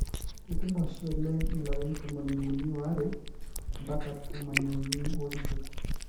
keetum oshi oleng ilariin tomom uini oare ampaka tomon iuni osiet.